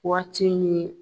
Waati in ye